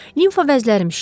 Lenfa vəzlərim şişib.